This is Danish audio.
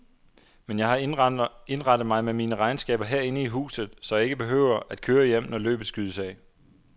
Men jeg har indrettet mig med mine regnskaber herinde i huset, så jeg ikke behøver at køre hjem, når løbet skydes af.